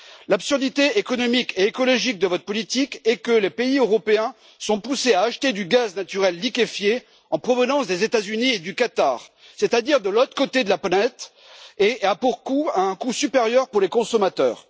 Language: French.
L'absurdité économique et écologique de votre politique est que les pays européens sont poussés à acheter du gaz naturel liquéfié en provenance des États Unis et du Qatar, c'est-à-dire de l'autre côté de la planète et à un coût supérieur pour les consommateurs.